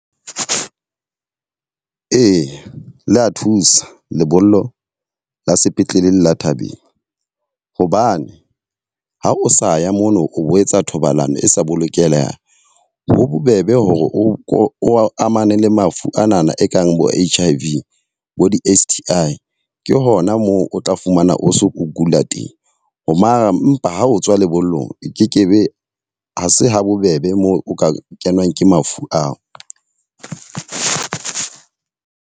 Ee, le a thusa lebollo la sepetlele le la thabeng. Hobane ha o sa ya mono o bo etsa thobalano e sa bolokehang. Ho bobebe hore o amane le mafu anana e kang bo H_I_V bo di-S_T_I ke hona moo o tla fumana o so o kula teng. Mara mpa ha o tswa lebollong e kekebe ha se habobebe moo o ka kenwa ke mafu ao.